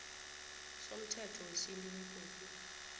somthetho wesintu begodu